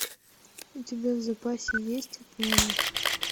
у тебя в запасе есть отмена